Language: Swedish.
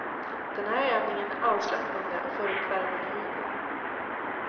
Den här övningen är avslappnande och får upp värmen i huden.